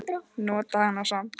Nota hana samt.